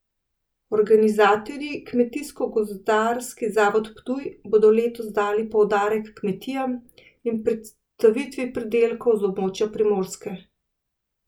Organizatorji, Kmetijsko gozdarski zavod Ptuj, bodo letos dali poudarek kmetijam in predstavitvi pridelkov z območja Primorske.